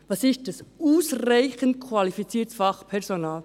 Was ist «ausreichend qualifiziertes Fachpersonal»?